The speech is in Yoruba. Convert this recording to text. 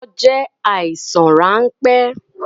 Orí fífọ́ jẹ àìsàn ránpẹ́